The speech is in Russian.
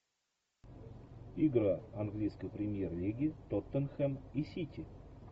игра английской премьер лиги тоттенхэм и сити